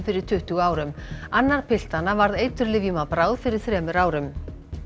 fyrir tuttugu árum annar piltanna varð eiturlyfjum að bráð fyrir þremur árum